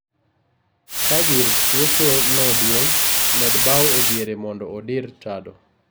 Ka gir tuocho no duong' med bao e diere mondo odir tado